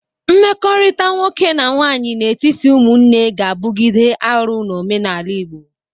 Mmekọrịta nwoke na nwaanyị n'etiti ụmụnne ga-abụgide arụ n'omenala Igbo.